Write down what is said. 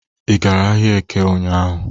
Ị gara ahịa Eke ụnyahụ?